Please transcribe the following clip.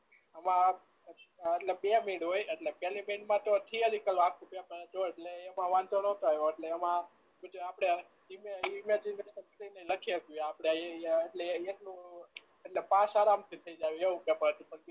આમાં એટલે બે હોય એટલે પેલી માં તો થીયરી એટલે એમાં વાંધો નતો આવ્યો એટલે એમાં આપણે ઈમેજીન કરી ને લખી શકીએ આપણે એ એ એટલું એટલે પાસ આરામ થી થઈ જાઓ એવું પેપર હતું